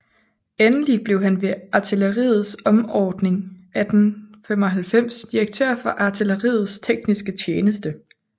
Endelig blev han ved artilleriets omordning 1895 direktør for artilleriets tekniske tjeneste